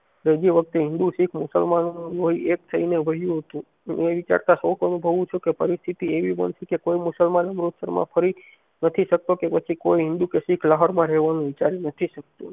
જો ઈ વખતે હિન્દૂ શીખ મુસલમાનો એક થાય ને રહ્યું હતું હું એ વિચારતા શોક અનુભવું છું કે પરિસ્થિતિ એવી બનશે કે કોઈ મુસલમાનો અમૃતસર માં ફરી નથી શકતો કે કોઈ હિન્દૂ માં રેવાનું વિચારી નથી શકતું